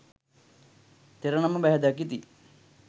තෙර නම බැහැ දකිති.